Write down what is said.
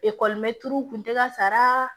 u tun tɛ ka sara